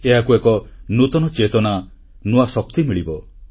ଏହାକୁ ଏକ ନୂତନ ଚେତନା ନୂଆ ଶକ୍ତି ମିଳିବ